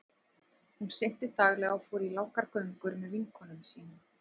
Hún synti daglega og fór í langar göngur með vinkonum sínum.